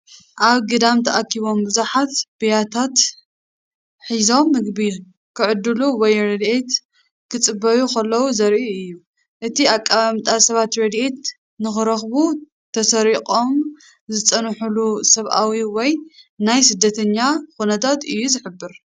ኣብ ግዳም ተኣኪቦም ብዙሓት ብያትታት ሒዞም ምግቢ ኺዕድሉ ወይ ረድኤት ኪጽበዩ ኸለዉ ዜርኢ እዩ። እቲ ኣቀማምጣን ሰባት ረድኤት ንኽረኽቡ ተሰሪቖም ዝጸንሑሉ ሰብኣዊ ወይ ናይ ስደተኛ ኩነታት እዩ ዝሕብር።